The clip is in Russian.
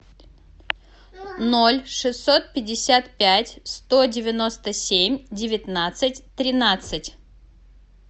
ноль шестьсот пятьдесят пять сто девяносто семь девятнадцать тринадцать